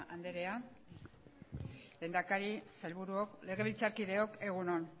andrea lehendakari sailburuok legebiltzarkideok egun on